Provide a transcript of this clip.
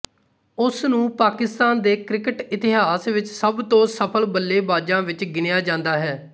ਉਸਨੂੰ ਪਾਕਿਸਤਾਨ ਦੇ ਕ੍ਰਿਕਟ ਇਤਿਹਾਸ ਵਿੱਚ ਸਭ ਤੋਂ ਸਫ਼ਲ ਬੱਲੇਬਾਜਾਂ ਵਿੱਚ ਗਿਣਿਆ ਜਾਂਦਾ ਹੈ